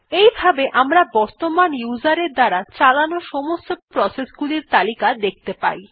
এই ভাবে আমরা বর্তমান উসের এর দ্বারা চালানো সমস্ত প্রসেস গুলির তালিকা দেখতে পাই